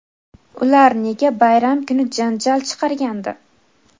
Ular nega bayram kuni janjal chiqargandi?.